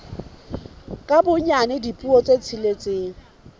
ka bonyane dipuo tse tsheletseng